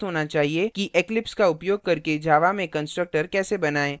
कि eclipse का उपयोग करके java में constructor कैसे बनाएँ